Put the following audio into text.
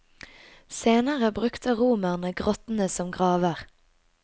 Senere brukte romerne grottene som graver.